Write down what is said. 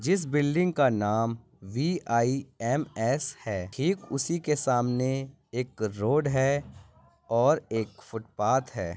जिस बिल्डिंग का नाम वीआईएमएस है ठीक उसी के सामने एक रोड है और एक फुटपाथ है।